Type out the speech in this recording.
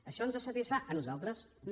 això ens satisfà a nosaltres no